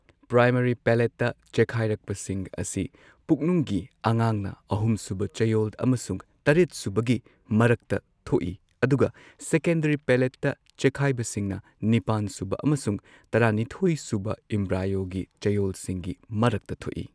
Primary ꯄꯦꯂꯦꯠꯇ ꯆꯦꯈꯥꯢꯔꯛꯄꯁꯤꯡ ꯑꯁꯤ ꯄꯨꯛꯅꯨꯡꯒꯤ ꯑꯉꯥꯡꯅ ꯑꯍꯨꯝ ꯁꯨꯕ ꯆꯌꯣꯜ ꯑꯃꯁꯨꯡ ꯇꯔꯦꯠ ꯁꯨꯕꯒꯤ ꯃꯔꯛꯇ ꯊꯣꯛꯏ꯫ ꯑꯗꯨꯒ ꯁꯦꯀꯦꯟꯗꯔꯤ ꯄꯦꯂꯦꯠꯇ ꯆꯦꯈꯥꯢꯕꯁꯤꯡꯅ ꯅꯤꯄꯥꯟ ꯁꯨꯕ ꯑꯃꯁꯨꯡ ꯇꯔꯥꯅꯤꯊꯣꯏ ꯁꯨꯕ ꯢꯝꯕ꯭ꯔꯥꯢꯌꯣꯒꯤ ꯆꯌꯣꯜꯁꯤꯡꯒꯤ ꯃꯔꯛꯇ ꯊꯣꯛꯏ꯫